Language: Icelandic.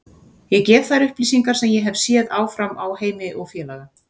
Ég gef þær upplýsingar sem ég hef séð áfram á Heimi og félaga.